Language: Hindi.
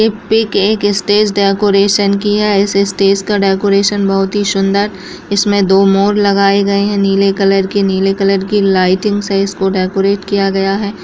ये पीक एक स्टेज डेकोरेशन की है इस स्टेज का डेकोरेशन बहुत ही सुन्दर इसमें दो मोर लगाए गए हैं नीले कलर के नीले कलर की लाइटिंग से इसको डेकोरेट किया गया है।